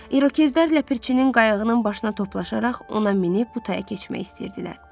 İrokezlər Ləpirçinin qayığının başına toplaşaraq ona minib bu taya keçmək istəyirdilər.